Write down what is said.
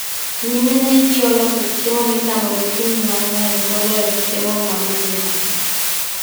nyimine gi oloso chiemo michamo gokinyi mang'eny moloyo chiemo ma godhiambo